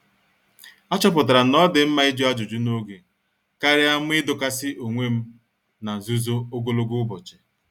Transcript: A chọpụtara na-odi mma ịjụ ajụjụ n'oge karịa m idokasi onwem n'nzuzo ogologo ụbọchị.